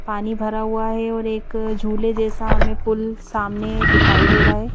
पानी भरा हुआ है और एक झूले जैसा हमें पुल सामने दिखाई दे रहा है।